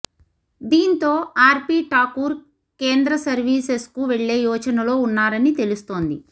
దీంతో ఆర్పీ ఠాకూర్ కేంద్ర సర్వీసెస్కు వెళ్లే యోచనలో ఉన్నారని తెలుస్తోంది